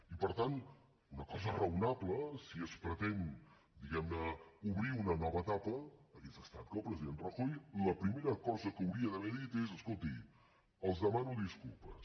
i per tant una cosa raonable si es pretén diguem ne obrir una nova etapa hauria estat que el president rajoy la primera cosa que hauria d’haver dit és escoltin els demano disculpes